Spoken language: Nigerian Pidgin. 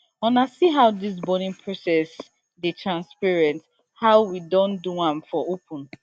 una see how dis burning process dey transparent how we don do am for open